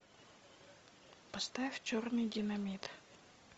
поставь черный динамит